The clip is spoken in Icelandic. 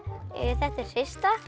þetta er hrista